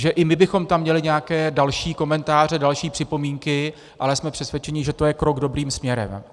Že i my bychom tam měli nějaké další komentáře, další připomínky, ale jsme přesvědčeni, že to je krok dobrým směrem.